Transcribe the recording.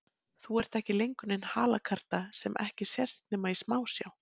Þú ert ekki lengur nein halakarta sem ekki sést nema í smásjá.